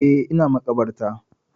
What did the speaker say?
Eh, ina maƙabarta.